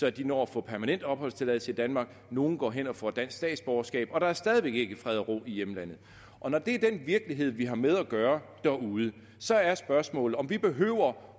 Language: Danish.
at de når at få permanent opholdstilladelse i danmark nogle går hen og får dansk statsborgerskab og der er stadig væk ikke fred og ro i hjemlandet når det er den virkelighed derude vi har med at gøre så er spørgsmålet om vi behøver